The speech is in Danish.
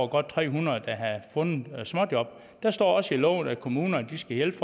godt tre hundrede der havde fundet småjob der står også i loven at kommunerne skal hjælpe